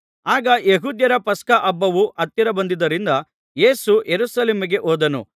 ಆಗ ಯೆಹೂದ್ಯರ ಪಸ್ಕ ಹಬ್ಬವು ಹತ್ತಿರ ಬಂದುದರಿಂದ ಯೇಸು ಯೆರೂಸಲೇಮಿಗೆ ಹೋದನು